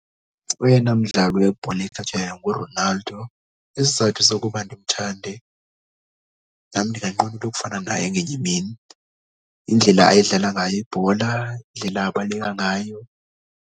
Oyena mdlali webhola ekhatywayo nguRonaldo. Isizathu sokuba ndimthande nam ndinganqwenela ukufana naye ngenye imini, indlela ayidlala ngayo ibhola, indlela abaleka ngayo.